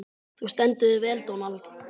Þú stendur þig vel, Dónald!